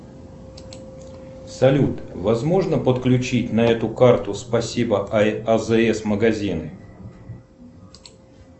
салют возможно подключить на эту карту спасибо азс магазин